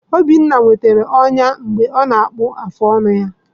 Obinna nwetara ọnya mgbe ọ na-akpụ afụ ọnụ ya.